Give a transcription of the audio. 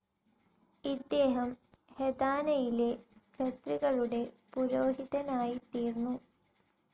ഇദ്ദേഹം തെഹാനയിലെ ഖത്രികളുടെ പുരോഹിതനായിത്തീർന്നു.